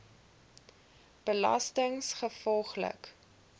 belastinggevolglik